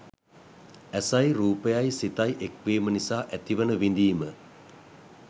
ඇසයි රූපයයි සිතයි එක්වීම නිසා ඇතිවන විඳීම